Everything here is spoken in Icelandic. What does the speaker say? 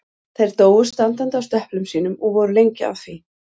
Þær dóu standandi á stöplum sínum og voru lengi að því.